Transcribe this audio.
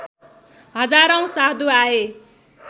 हजारौँ साधु आए